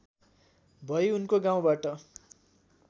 भई उनको गाउँबाट